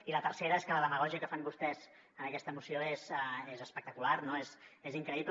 i la tercera és que la demagògia que fan vostès en aquesta moció és espectacular no és increïble